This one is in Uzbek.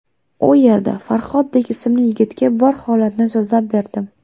U yerda Farhodbek ismli yigitga bor holatni so‘zlab berdim.